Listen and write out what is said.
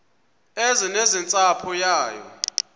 eze nentsapho yayo